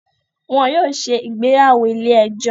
Wọn yóò ṣe ìgbéyàwó ilé ẹjọ́